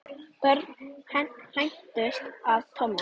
Börn hændust að Tomma.